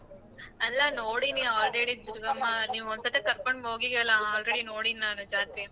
ಅಲ್ಲ ನೋಡಿನೀ already ದುರ್ಗಮ್ಮ ನೀವ್ ಒಂದ್ ಸತಿ ಕರ್ಕೊಂಡು ಹೋಗಿಯಲ್ಲ already ನೋಡಿನೀ ಜಾತ್ರೆ.